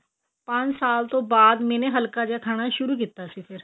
ਪੰਜ ਸਾਲ ਤੋਂ ਬਾਅਦ ਮੈਨੇ ਹੱਲਕਾ ਜਾ ਖਾਣਾ ਸ਼ੁਰੂ ਕੀਤਾ ਸੀ ਫ਼ੇਰ